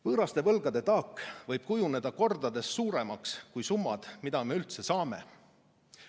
Võõraste võlgade taak võib kujuneda kordades suuremaks kui summad, mida me üldse saame.